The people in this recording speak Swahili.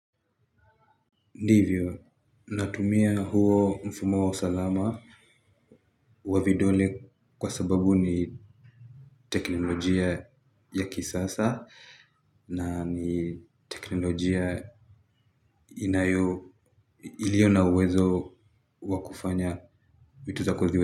Ndivyo, natumia huo mfumo wa usalama wa vidole kwa sababu ni teknolojia ya kisasa na ni teknolojia inayo ilio na uwezo wakufanya vitu zako ziwe.